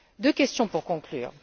Deux questions pour conclure.